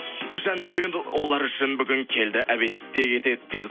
жандаурен олар үшін бүгін келді обедте кетеді дейді